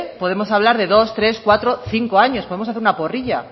podemos hablar de dos tres cuatro cinco años podemos hacer una porrilla